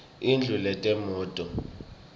indlu yetemnotfo